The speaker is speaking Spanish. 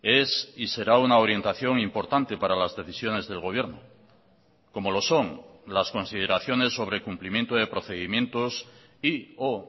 es y será una orientación importante para las decisiones del gobierno como lo son las consideraciones sobre cumplimiento de procedimientos y o